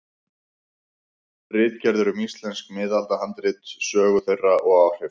Ritgerðir um íslensk miðaldahandrit, sögu þeirra og áhrif.